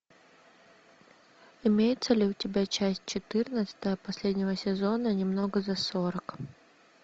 имеется ли у тебя часть четырнадцатая последнего сезона немного за сорок